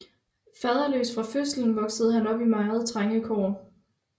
Faderløs fra fødselen voksede han op i meget trange kår